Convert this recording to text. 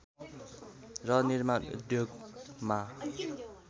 र निर्माण उद्योगमा